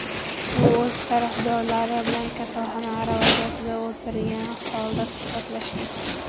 U o‘z tarafdorlari bilan kasalxona aravachasida o‘tirgani holda suhbatlashgan.